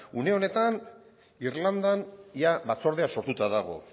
une honetan irlandan ia batzordea sortuta dago